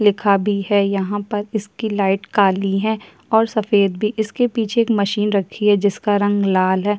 लिखा भी है यहाँ पर इसकी लाइट काली है और सफेद भी इसके पीछे एक मशीन रखी है जिसका रंग लाल है।